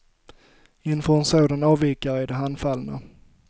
Inför en sådan avvikare är de handfallna.